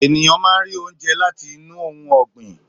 Ènìyàn máá ń rí oúnjẹ láti inú ohun ọgbin.